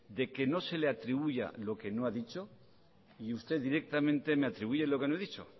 de que no se le atribuya lo que no ha dicho y usted directamente me atribuye lo que no he dicho